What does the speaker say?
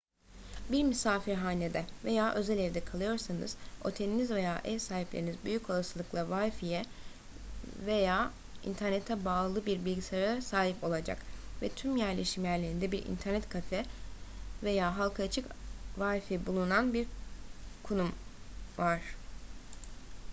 bir misafirhanede veya özel evde kalıyorsanız oteliniz veya ev sahipleriniz büyük olasılıkla wifi'ye veya internete bağlı bir bilgisayara sahip olacak ve tüm yerleşim yerlerinde bir internet kafe veya halka açık wifi bulunan bir konum var